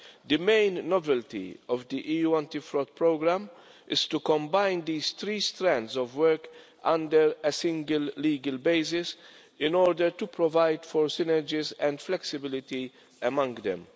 The main novelty of the EU Anti Fraud Programme is to combine these three strands of work, on a single legal basis, in order to provide for synergies and flexibility among them.